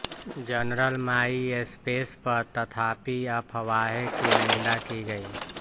general MySpace पर तथापि अफवाहें की निंदा की गई